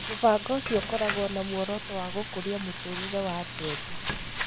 Mũbango ũcio ũkoragwo na muoroto wa gũkũria mũtũũrĩre wa andũ ethĩ